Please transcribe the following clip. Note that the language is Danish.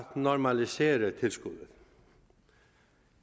normalisere tilskuddet